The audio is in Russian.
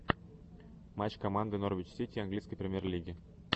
матч команды норвич сити английской премьер лиги